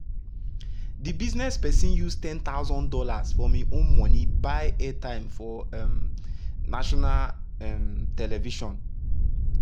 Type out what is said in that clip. de business person use one thousand dollars0 from im own monie buy airtime for um national um television.